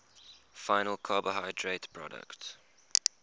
final carbohydrate products